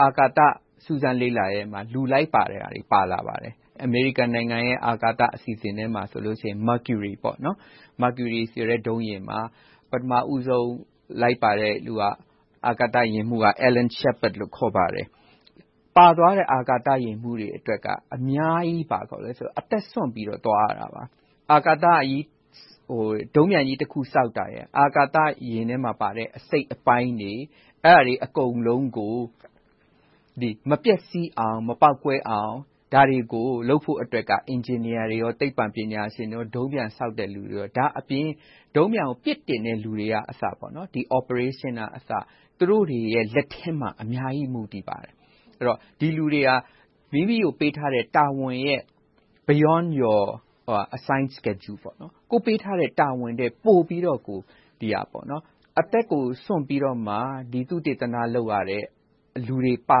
အာကာသစူးစမ်းလေ့လာမှုမှာ လူလိုက်ပါတဲ့ဟာတွေ ပါလာပါတယ်။ အမေရိကန်နိုင်ငံရဲ့ အာကာသအစီအစဉ်ထဲမှာ Mecury ဆိုတဲ့ ဒုံးပျံယာဉ်မှာ ပထမဦးဆုံး လိုက်ပါတဲ့လူဟာ အာကာသယာဉ်မှူးက Alan Shepard ဖြစ်ပါတယ်။ ပါသွားတဲ့ အာကာသယာဉ်မှူးတွေအတွက်က အများကြီးအသက်စွန့်ပြီးတော့ သွားရတယ်။ ဒုံးပျံကြီးတခုဆောက်တာ၊ အာကာသယာဉ်ထဲမှာပါတဲ့ အစိတ်အပိုင်းတွေ - အဲဒါတွေ အကုန်လုံးကို မပျက်စီးအောင်၊ မပေါက်ကွဲအောင် ဒါတွေကိုလုပ်ဖို့က အင်ဂျင်နီယာတွေ၊ သိပ္ပံပညာရှင်တွေ၊ ဒုံးပျံဆောက်တဲ့လူတွေအပြင် ဒုံးပျံကို ပစ်တင်တဲ့လူတွေကအစ Operationers သူတို့တွေရဲ့ လက်ထဲမှာ အများကြီး မူတည်ပါတယ်။ ဒီလူတွေက မိမိကိုပေးထားတဲ့ တာဝန်တွေရဲ့ Beyond your assigned schedule ကိုယ့်ကိုပေးထားတဲ့ တာဝန်ထက်ပိုပြီးတော့ အသက်ကိုစွန့်ပြီးတော့မှ သုတေသန လုပ်ရတဲ့ လူတွေပါ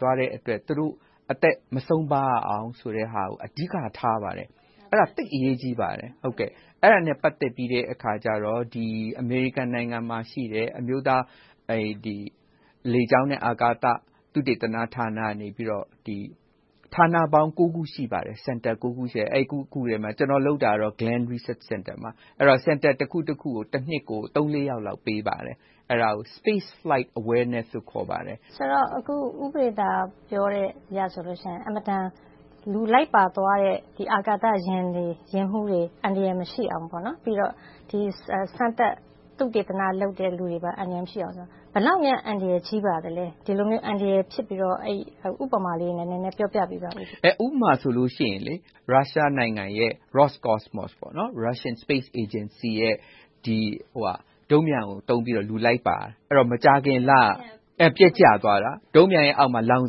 သွားတဲ့အတွက် သူတို့အသက်မဆုံးပါရအောင် အဓိကထားပါတယ်။ အဲဒါ သိပ်အရေးကြီးပါတယ်။ အဲဒါနဲ့ ပတ်သက်ပြီးတော့ အမေရိကန်နိုင်ငံမှာရှိတဲ့ အမျိုးသားလေကြောင်းနဲ့ အာကာသသုတေသနဌာနကနေ ဌာနပေါင်း ခု ရှိပါတယ်။ အဲဒီ ခုထဲမှာ ကျနော်လုပ်တာကတော့ Glen Research Center မှာပါ။ Center တခုကို တနှစ်မှာ သုံးလေးယောက်လောက် ပေးပါတယ်။ အဲဒါကို Space Flight Awareness လို့ ခေါ်ပါတယ်။ ဦးပဒေသာတင် ပြောအရဆိုရင် လူလိုက်ပါသွားတဲ့ အာကာသယာဉ်တွေ၊ ယာဉ်မှူးတွေ အန္တရာယ်မရှိအောင်၊ ပြီးတော့ စမ်းသပ်သုတေသနလုပ်တဲ့ လူတွေပါ အန္တရာယ်မရှိအောင် ဘယ်လောက်များ အန္တရာယ်ကြီးပါသလဲ။ ဒီလိုမျိုး အန္တရာယ်ဖြစ်ပြီးတော့ ဥပမာလေးနဲ့ နည်းနည်းပြောပြပေးပါ။ ဥပမာဆိုလို့ရှိရင် ရုရှားနိုင်ငံရဲ့ Roscosmos - Russian Space Agency ရဲ့ ဒုံးပျံကိုသုံးပြီးတော့ လူလိုက်ပါတယ်။ မကြာခင်လက ပျက်ကျသွားတာ ဒုံးပျံရဲ့အောက်မှာ လောင်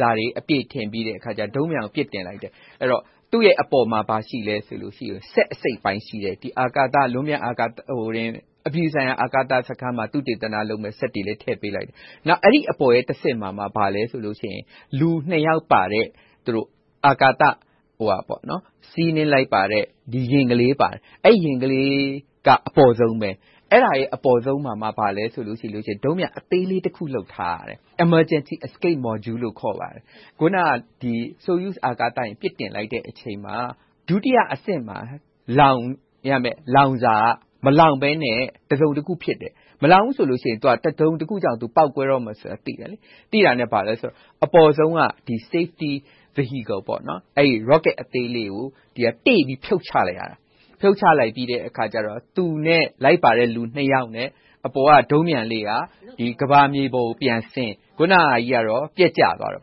စာတွေအပြည့်ထည့်ပြီးတော့ ဒုံးပျံကို ပစ်တင်လိုက်တယ်။ သူ့ရဲ့အပေါ်မှာ ဘာရှိလဲဆိုတော့ စက်အစိတ်အပိုင်းရှိတဲ့ ဒီလွန်ပျံအာကာသ - အပြည်ပြည်ဆိုင်ရာ အာကာစခန်းမှာ သုတေသနလုပ်မယ့် စက်တွေလည်း ထည့်ပေးလိုက်တယ်။ နောက် အဲဒီအပေါ်ရဲ့တဆင့်မှာ ဘာလဲဆိုတော့ လူနှစ်ယောက်ပါတဲ့ စီးနှင်းလိုက်ပါတဲ့ ယာဉ်ကလေးပါတယ်။ အဲဒီယာဉ်ကလေးက အပေါ်ဆုံးမှာပါ။ အဲဒီအပေါ်ဆုံးမှာ ဘာရှိလဲဆိုတော့ ဒုံးပျံအသေးလေးတခု လုပ်ထားတယ်။ Emergency Escape Module လို့ ခေါ်ပါတယ်။ အခုန Soyuz အာကာသယာဉ် ပစ်တင်လိုက်တဲ့အချိန်မှာ ဒုတိယအဆင့်မှာ လောင်းရမယ့် လောင်စာက မလောင်းဘဲနဲ့ တစုံတခုဖြစ်တယ်။ မလောင်းဘူးဆိုရင် တစုံတခုကြောင့် ပေါက်ကွဲတော့မယ်ဆိုတာကို သိတယ်။ သိတာနဲ့ အပေါ်ဆုံးက Safety Vehicle – Rocket အသေးလေးကို တေ့ပြီးဖြုတ်ချလိုက်ရတယ်။ ဖြုတ်ချလိုက်ပြီးတော့ သူနဲ့လိုက်ပါတဲ့ လူနှစ်ယောက်နဲ့ အပေါ်က ဒုံးပျံလေးက ကမ္ဘာမြေပေါ်ကိုပြန်ဆင်း၊ အခုနဟာကြီးက ပျက်ကျသွားတယ်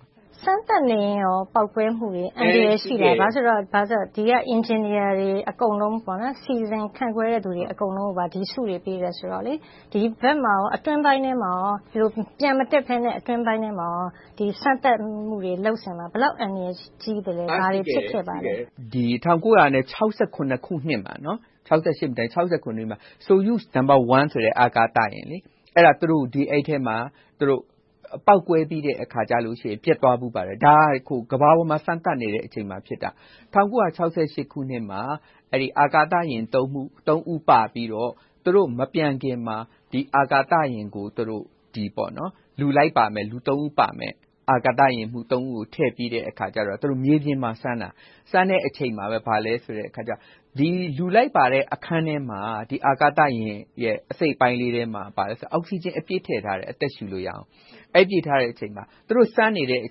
။ စမ်းသပ်နေတဲ့အခါလဲ ပေါက်ကွဲမှုတွေ၊ အန္တရာယ်ရှိတယ်။ ဘာဖြစ်လို့လဲဆိုတော့ ဒီက အင်ဂျင်နီယာတွေ အကုန်လုံး၊ စီစဉ်ခန့်ခွဲတဲ့လူတွေ အကုန်လုံးကို ဒီဆုတွေ ပေးတယ်ဆိုတော့ - အတွင်းပိုင်းမှာ ပျံမတက်ဘဲနဲ့ စမ်းသပ်မှုတွေ လုပ်ဆောင်လား။ ဘယ်လောက်အန္တရာယ်ကြီးသလဲ။ ဘာတွေဖြစ်ခဲ့ပါလဲ။ အန္တရာယ်ကြီးတယ်။ ၁၉၆၇ ခုနှစ်မှာ Soyuz No အာကာသယာဉ်ထဲမှာ ပေါက်ကွဲပြီးတော့ ပျက်သွားဖူးပါတယ်။ ဒါက ကမ္ဘာပေါ်မှာ စမ်းသပ်နေတဲ့အချိန်မှာ ဖြစ်တာ။ ၁၉၆၈ ခုနှစ်မှာ အဲဒီအာကာသယာဉ် ဦး ပါပြီးတော့ သူတော့မပျံခင်မှာ ဒီအာကာသယာဉ်ကို သူတို့ အာကာသယာဉ်မှူး ဦးကို ထည့်ပြီးတော့ မြေပြင်မှာစမ်းတာ - အဲဒီစမ်းတဲ့အချိန်မှာပဲ လူလိုက်ပါတဲ့အခန်းထဲမှာ အာကာသယာဉ် အစိတ်အပိုင်းလေးထဲမှာ အောက်စီဂျင်အပြည့်ထည့်ထားတယ် အသက်ရှူလို့ရအောင်။ အဲဒီ သူတို့စမ်းနေတဲ့အ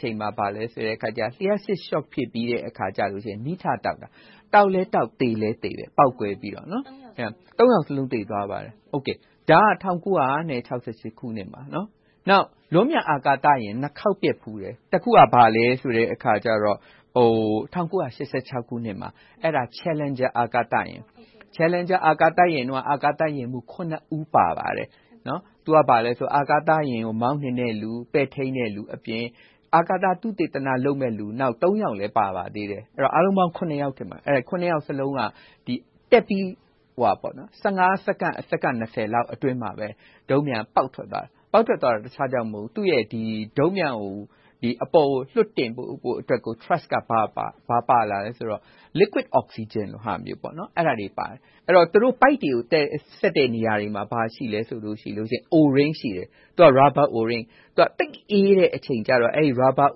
ချိန်မှာ လျှပ်စစ်ရှော့ဖြစ်ပြီးတော့ မီးထတောက်တယ်။ တောက်ပြီးတာနဲ့ ပေါက်ကွဲပြီး အာကာသယာဉ်မှူး ယောက်လုံး သေသွားတယ်။ ဒါက ၁၉၆၈ ခုနှစ်မှာ။ နောက် လွန်ပျံအာကာသယာဉ် နှစ်ခေါက်ပျက်ဖူးတယ်။ တခုက ဘာလဲဆိုတော့ ၁၉၈၆ ခုနှစ်မှာ Challenger အာကာသယာဉ် - အဲဒီမှာ အာကာသယာဉ်မှူး ဦး ပါပါတယ်။ အာကာသယာဉ်ကို မောင်းနှင်တဲ့လူ၊ ပဲ့ထိန်းတဲ့လူအပြင် အာကာသသုတေသနလုပ်မယ့်လူ ယောက်လည်း ပါပါတယ်။ အားလုံးပေါင်း ယောက်စလုံးက တက်ပြီး စက္ကန့်၊ စက္ကန့် အတွင်းမှာ ဒုံးပျံက ပေါက်ကွဲသွားတယ်။ ပေါက်ကွဲရတဲ့အကြောင်းက ဒုံးပျံကို အပေါ်ကိုလွှတ်တင်ဖို့အတွက် T… က ဘာပါလာလဲဆိုတော့ Liquid Oxygen လိုဟာမျိုး အဲဒါတွေပါတယ်။ သူတို့ပိုက်တွေကို ဆက်တဲ့နေရာတွေမှာ ဘာတွေရှိလဲဆိုရင် Rubber O-ring သိပ်အေးတဲ့အချိန်ကြတော့ အဲဒီ Rubber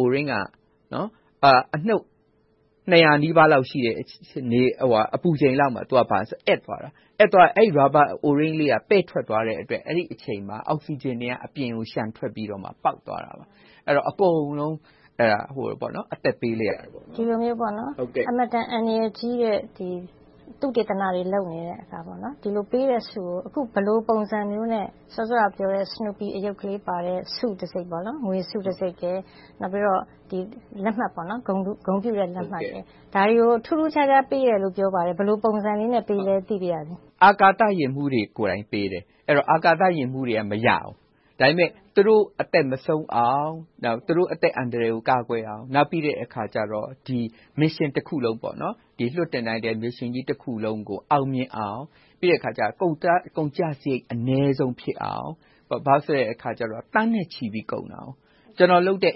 O-ring က အနုတ် ၂၀၀ နီးပါးလောက်ရှိတဲ့ အပူချိန်လောက်မှာ သူက အက်သွားတယ်။ အဲဒီ Rubber O-ring လေး ပဲ့ထွက်သွားတဲ့အတွက် အဲဒီအချိန်မှာ Oxygen တွေက အပြင်ကို လျှံထွက်ပြီးတော့ ပေါက်သွားခဲ့တယ်။ အကုန်လုံး အသက်ပေးလိုက်ရတယ်။ ဒီလိုမျိုး အင်မတန် အန္တရာယ်ကြီးတဲ့ သုတေသနတွေ လုပ်နေပြီး၊ ဒီလိုပေးတဲ့ဆုကို အခုဘယ်လိုပုံစံမျိုးနဲ့ စောစောကပြောတဲ့ Snoopy အရုပ်လေးပါတဲ့ ဆုတံဆိပ် ငွေဆုတံဆိပ်နဲ့ ဂုဏ်ပြုလက်မှတ်တွေကို ထူးထူးခြားခြား ပေးတယ်လို့ပြောပါတယ်။ ဘယ်လိုပုံစံလေးနဲ့ ပေးသလဲ သိပါရစေ။ အာကာသယာဉ်မှူးတွေကိုယ်တိုင် ပေးပါတယ်။ အဲဒီတော့ အာကာသယာဉ်မှူးတွေက မရဘူး။ ဒါပေမဲ့ သူတို့အသက်မဆုံးအောင်၊ သူတို့အသက်အန္တရာယ်ကို ကာကွယ်အောင်၊ နောက်ပြီးတော့ Mission တခုလုံး အောင်မြင်အောင်၊ ပြီးတော့ ကုန်ကျစရိတ် အနည်းဆုံးဖြစ်အောင် - ဘာဖြစ်လို့လဲဆိုတော့ သန်းနဲ့ချီပြီးတော့ ကုန်ကျတယ်။ ကျနော်လုပ်တဲ့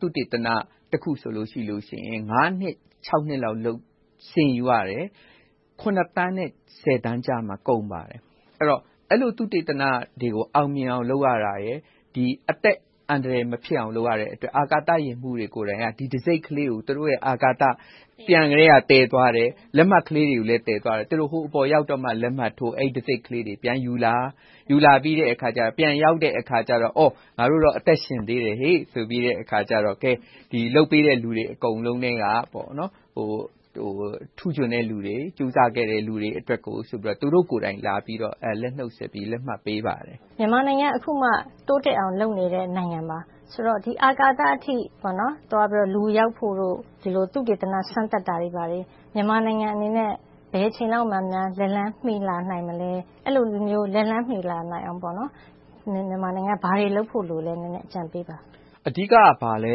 သုတေသနတခုဆိုရင် ငါးနှစ်ခြောက်နှစ်လောက် လုပ်ရတယ်။ ခုနှစ်သန်းနဲ့ ဆယ်သန်းကြားမှာ ကုန်ပါတယ်။ အဲဒီလို သုတေသနတွေကို အောင်မြင်အောင် လုပ်ရတာရယ်။ အသက်အန္တရာယ် မဖြစ်အောင်လုပ်ရတဲ့အတွက် အာကာသယာဉ်မှူးတွေကိုယ်တိုင် ဒီတံဆိပ်ကလေးကို သူတို့ အာကာသပျံကတည်းက သယ်သွားတယ်။ လက်မှတ်ကလေးတွေလည်း သယ်သွားတယ်။ ဟိုအပေါ်ရောက်မှ လက်မှတ်ထိုး၊ တံဆိပ်ကလေးတွေ ပြန်ယူလာပြီး၊ ပြန်ရောက်တဲ့အခါ.. ‘ငါတို့တော့ အသက်ရှင်သေးတယ်ဆိုပြီးတော့’ လုပ်ပေးတဲ့ လူတွေအကုန်လုံးထဲက ထူးချွန်တဲ့လူတွေ၊ ကြိုးစားပေးတဲ့ လူတွေအတွက်ကို သူတို့ကိုယ်တိုင် လက်ဆွဲနှုတ်ဆက်ပြီး၊ လက်မှတ်ပေးပါတယ်။ မြန်မာနိုင်ငံက အခုမှ တိုးတက်အောင် လုပ်နေတဲ့နိုင်ငံပါ။ ဆိုတော့ အာကာသအထိ သွားဖို့၊ လူရောက်ဖို့တို့၊ သုတေသန စမ်းသပ်တာတွေက မြန်မာနိုင်ငံအတွက် ဘယ်အချိန်လောက်များ လက်လှမ်းမီလာနိုင်မလဲ။ အဲဒီလိုမျိုး လက်လှမ်းမီလာနိုင်အောင် မြန်မာနိုင်ငံအနေနဲ့ ဘာတွေလုပ်ဖို့လိုသလဲ။ အကြံပေးပါ။ အဓိက ဘာလဲ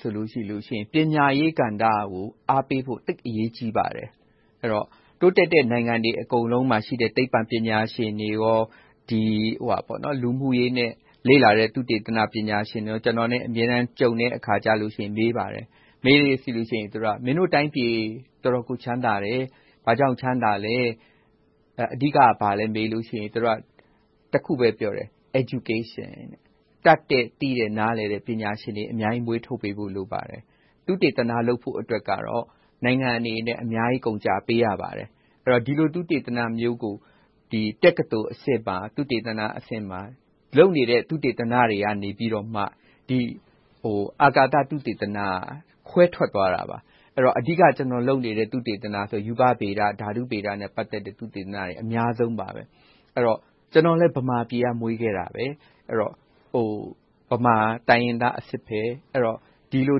ဆိုရင် ပညာရေးကဏ္ဍကို အားပေးဖို့ သိပ်အရေးကြီးပါတယ်။ တိုးတက်တဲ့ နိုင်ငံတွေအကုန်လုံးမှာရှိတဲ့ သိပ္ပံပညာရှင်တွေ၊ လူမှုရေးနဲ့ လေ့လာရေး သုတေသနပညာရှင်တွေ ကျနော်နဲ့ အမြဲတမ်းကြုံတဲ့အခါ မေးပါတယ်။ မေးတဲ့အခါ မင်းတို့တိုင်းပြည် တော်တော်ကို ချမ်းသာတယ်။ ဘာကြောင့်ချမ်းသာလဲ။ အဓိက ဘာလဲမေးလို့ရှိရင် သူတို့က တခုပဲ ပြောတယ် - Education တတ်တဲ့၊ သိတဲ့၊ နားလည်တဲ့ ပညာရှင်တွေ အများကြီးမွေးထုတ်ပေးဖို့ လိုပါတယ်။ သုတေသန လုပ်ဖို့အတွက်ကတော့ နိုင်ငံအနေနဲ့ အများကြီးကုန်ကျပေးရပါတယ်။ ဒီလို သုတေသနမျိုးကို တက္ကသိုလ်အဆင့်မှာ လုပ်နေတဲ့ သုတေသနတွေကနေ အာကာသသုတေသနက ခွဲထွက်သွားတာပါ။ အဓိက ကျနော်လုပ်နေတဲ့ သုတေသနဆိုရင် ရူပဗေဒ၊ ဓာတုဗေဒနဲ့ ပတ်သက်တဲ့ သုတေသနတွေ အများဆုံးပါ။ ကျနော်လည်း ဗမာပြည်မှာ မွေးခဲ့တာပါ။ ဗမာတိုင်းရင်းသားအစစ်။ ဒီလို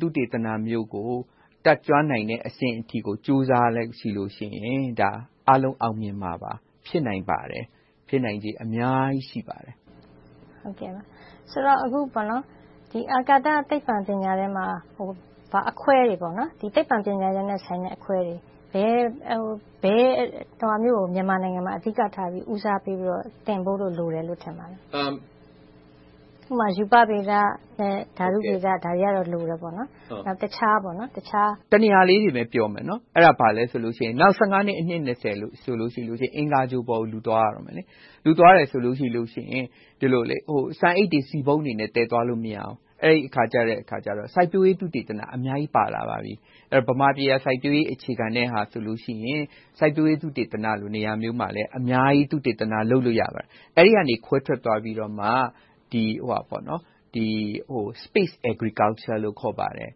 သုတေသနမျိုးကို တတ်ကျွမ်းနိုင်တဲ့အဆင့်အထိကို ကြိုးစားလိုက်ရင် အားလုံးအောင်မြင်မှာပါ။ ဖြစ်နိုင်ပါတယ်။ ဖြစ်နိုင်ချေအများကြီး ရှိပါတယ်။ ဆိုတော့ အာကာသသိပ္ပံ ပညာထဲမှာ သိပ္ပံပညာရပ်နဲ့ ပတ်သက်တဲ့ အခွဲတွေ - ဘယ်ဟာမျိုးကို မြန်မာနိုင်ငံမှာ ဦးစားပေးသင်ဖို့ လိုတယ်လို့ ထင်ပါလဲ။ ဥပမာ ရူပဗေဒနဲ့ ဓာတုဗေဒတွေက လိုတယ်ပေါ့။ တနေရာပဲပြောမယ် အဲဒါ ဘာလဲဆိုတော့ နောက် နှစ်၊ အနှစ် ဆိုရင် အင်္ဂါဂြိုဟ်ပေါ်ကို လူသွားရတော့မယ်။ လူသွားတယ်ဆိုရင် ဆန်အိတ်တွေ၊ ဆီပုံးတွေ သယ်သွားလို့မရဘူး။ အဲဒီအခါကြတော့ စိုက်ပျိုးရေး သုတေသနတွေ အများကြီးပါလာပါပြီ။ ဗမာပြည်က စိုက်ပျိုးရေးအခြေခံတော့ စိုက်ပျိုးရေးသုတေသနလို နေရာမျိုးမှာ အများကြီး သုတေသနလုပ်လို့ ရပါတယ်။ အဲဒီကနေ ခွဲထွက်သွားပြီးတော့ Space Agriculture လို့ ခေါ်ပါတယ်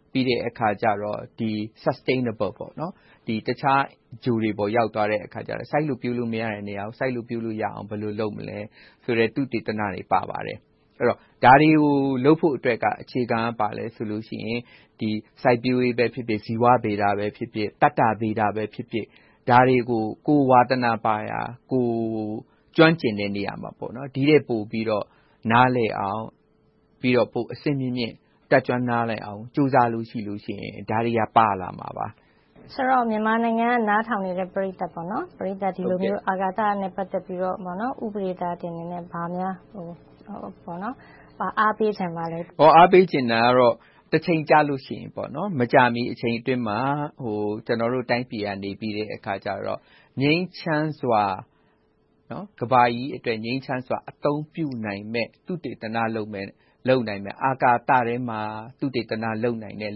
။ ပြီးတဲ့အခါ Sustainable တခြားဂြိုဟ်တွေပေါ် ရောက်သွားတဲ့အခါ စိုက်လို့ပျိုးလို့မရတဲ့နေရာမှာ စိုက်လို့ပျိုးလို့ရအောင် ဘယ်လိုလုပ်မလဲဆိုတဲ့ သုတေသနတွေ ပါလာပါတယ်။ ဒါတွေကို လုပ်ဖို့အတွက် အခြေခံက ဘာလဲဆိုတော့ စိုက်ပျိုးရေးပဲဖြစ်ဖြစ်၊ ဇီဝဗေဒပဲဖြစ်ဖြစ်၊ သတ္တဗေဒပဲဖြစ်ဖြစ် - ဒါတွေကို ကိုယ်ဝါသနာပါရာ၊ ကိုယ်ကျွမ်းကျင်တဲ့နေရာမှာ ဒီထက်ပိုပြီးတော့ နားလည်အောင်၊ ပိုပြီးအဆင့်မြင့်မြင့် တက်ကျွမ်းနားလည်အောင် ကြိုးစားလို့ရှိရင် ဒါတွေက ပါလာမှာပါ။ ဆိုတော့ မြန်မာနိုင်ငံက နားထောင်နေတဲ့ ပရိသတ်တွေကို ဒီလိုမျိုး အာကာသနဲ့ ပတ်သက်ပြီးတော့ ဦးပဒေသာတင်အနေနဲ့ ဘာများ အားပေးချင်ပါလဲ။ အားပေးချင်တာကတော့ တချိန်ကြလို့ရှိရင်...မကြာမီ အချိန်အတွင်းမှာ ကျနော်တို့တိုင်းပြည်ကနေ ကမ္ဘာကြီးအတွက် ငြိမ်းချမ်းစွာ အသုံးပြုနိုင်မယ့် သုတေသနလုပ်မယ့်၊ အာကာသထဲမှာ သုတေသနလုပ်နိုင်မယ့်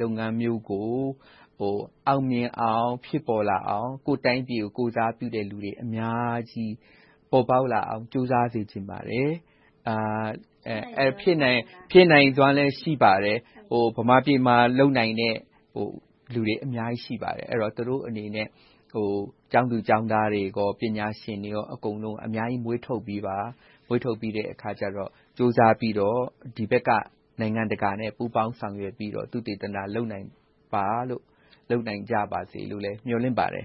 လုပ်ငန်းမျိုးကို အောင်မြင်အောင်၊ ဖြစ်ပေါ်လာအောင် ကိုယ့်တိုင်းပြည်ကို ကိုယ်စားပြုတဲ့လူတွေ အများကြီးပေါ်ပေါက်လာအောင် ကြိုးစားစေချင်ပါတယ်။ ဖြစ်နိုင်စွမ်းလည်း ရှိပါတယ်။ ဗမာပြည်မှာလုပ်နိုင်တဲ့ လူတွေအများကြီးရှိပါတယ်။ သူတို့အနေနဲ့ ကျောင်းသူကျောင်းသားတွေ၊ ပညာရှင်တွေ အကုန်လုံး အများကြီးမွေးထုတ်ပေးပါ။ မွေးထုတ်ပြီးတော့ ကြိုးစားပြီးတော့ ဒီဘက်က နိုင်ငံတကာနဲ့ ပူးပေါင်းဆောင်ရွက်ပြီးတော့ သုတေသနလုပ်နိုင်ကြပါစေလို့ မျှော်လင့်ပါတယ်